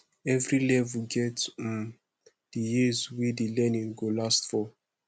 every level get um the years wey the learning go last for